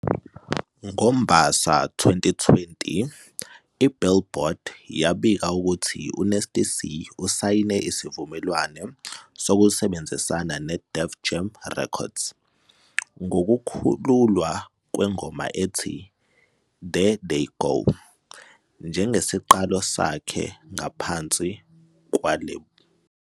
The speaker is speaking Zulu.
NgoMbasa 2020, "iBillboard" yabika ukuthi uNasty C usayine isivumelwano sokusebenzisana neDef Jam Records, ngokukhululwa kwengoma ethi "There They Go" njengesiqalo sakhe ngaphansi kwelebula.